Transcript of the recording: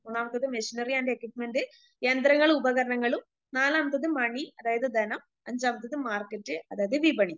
മൂന്നാമത്തേത് machinery and equipment യന്ത്രങ്ങളും ഉപകരണങ്ങളും നാലാമത്തത് മണി അതായത് ധനം അഞ്ചാമത്തെത് മാർക്കറ്റ് അതായത് വിപണി.